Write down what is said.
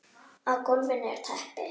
Á gólfinu er teppi.